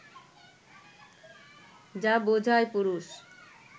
যা বোঝায় পুরুষ